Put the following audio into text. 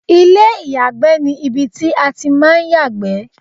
ilé ìyàgbẹ́ ni ibi tí a ti ń máa ń yàgbẹ́